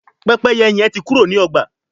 Pẹ́pẹ́yẹ hẹn tí Kúrò ní ọgba